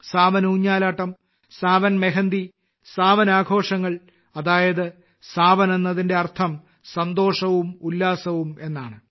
സാവൻ ഊഞ്ഞാലാട്ടം സാവൻ മെഹന്ദി സാവൻ ആഘോഷങ്ങൾ അതായത് സാവൻ എന്നതിന്റെ അർത്ഥം സന്തോഷവും ഉല്ലാസവും എന്നാണ്